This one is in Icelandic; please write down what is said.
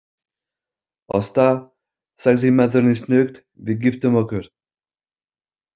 Ásta, sagði maðurinn snöggt, við giftum okkur.